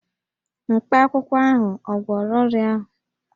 Mkpakwụkwọ ahụ ò gwọrọ ọrịa ahụ?